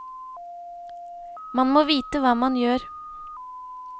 Man må vite hva man gjør.